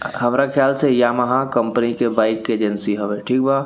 हमरा ख्याल से यामाहा कंपनी के बाइक के एजेंसी हवे ठीक बा।